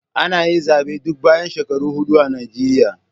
Ana yi zabe duk bayan shekaru hudu a Nijeriya.